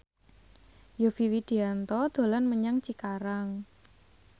Yovie Widianto dolan menyang Cikarang